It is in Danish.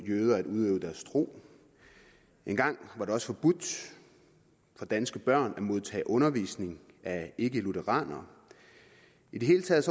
jøder at udøve deres tro engang var det også forbudt for danske børn at modtage undervisning af ikkelutheranere i det hele taget